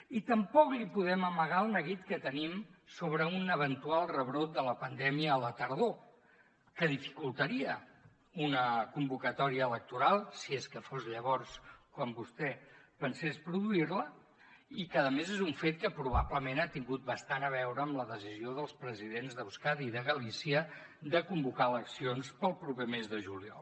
i tampoc li podem amagar el neguit que tenim sobre un eventual rebrot de la pandèmia a la tardor que dificultaria una convocatòria electoral si és que fos llavors quan vostè pensés produir la i que a més és un fet que probablement ha tingut bastant a veure amb la decisió dels presidents d’euskadi i de galícia de convocar eleccions pel proper mes de juliol